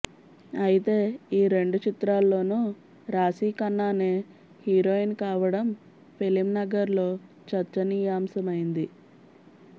అయితే ఈ రెండు చిత్రాల్లోనూ రాశీఖన్నానే హీరోయిన్ కావడం ఫిలింనగర్లో చర్చనీయాంశమైంది